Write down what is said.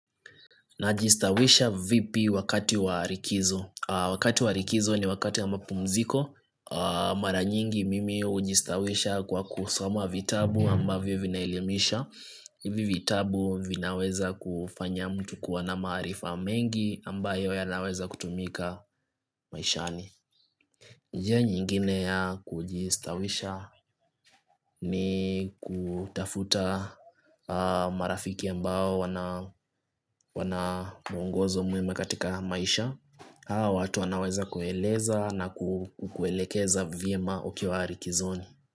Najistawisha vipi wakati warikizo. Wakati warikizo ni wakati ya mapumziko. Maranyingi mimi ujistawisha kwa kusoma vitabu ambavyo vinaelimisha. Hivi vitabu vinaweza kufanya mtu kuwa na maarifa mengi amba yoya naweza kutumika maishani. Njia nyingine ya kujistawisha ni kutafuta marafiki ambao wana wana muongozo mwema katika maisha Haa watu wanaweza kueleza na kukuelekeza vyema ukiwa rikizoni.